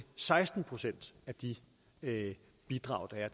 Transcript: seksten procent af de bidrag der er